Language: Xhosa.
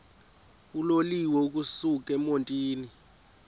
uloliwe ukusuk emontini